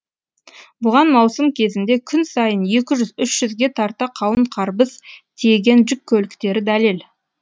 бұған маусым кезінде күн сайын екі жүз үш жүзге тарта қауын қарбыз тиеген жүк көліктері дәлел